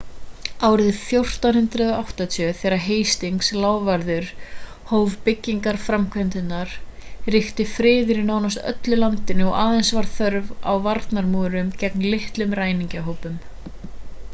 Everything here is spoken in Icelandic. árið 1480 þegar hastings lávarður hóf byggingarframkvæmdirnar ríkti friður í nánast öllu landinu og aðeins var þörf á varnarmúrum gegn litlum ræningjahópum